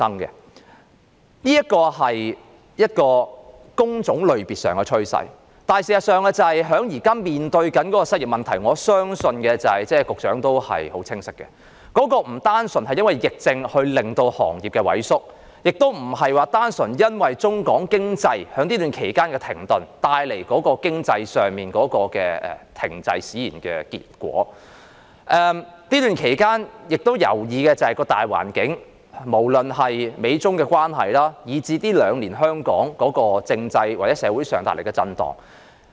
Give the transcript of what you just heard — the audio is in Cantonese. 這是工種類別上的趨勢，事實上，我相信局長也很清楚，我們現時面對的失業問題，並不單純因為疫情令行業萎縮，亦不單純是中港經濟在這段期間停頓而帶來經濟停滯的結果，還關乎這段期間的大環境，不論是美中關係，以至是香港近兩年在政制或社會上的震盪。